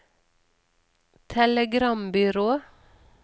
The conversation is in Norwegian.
telegrambyrå